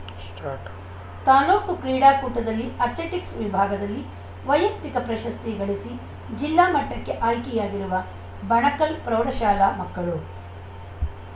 start ತಾಲೂಕು ಕ್ರೀಡಾಕೂಟದಲ್ಲಿ athletics ವಿಭಾಗದಲ್ಲಿ ವೈಯಕ್ತಿಕ ಪ್ರಶಸ್ತಿ ಗಳಿಸಿ ಜಿಲ್ಲಾ ಮಟ್ಟಕ್ಕೆ ಆಯ್ಕೆಯಾಗಿರುವ ಬಣಕಲ್‌ ಪ್ರೌಢಶಾಲಾ ಮಕ್ಕಳು